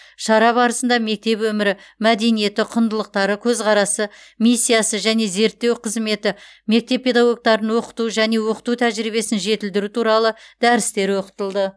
шара барысында мектеп өмірі мәдениеті құндылықтары көзқарасы миссиясы және зерттеу қызметі мектеп педагогтарын оқыту және оқыту тәжірибесін жетілдіру туралы дәрістер оқытылды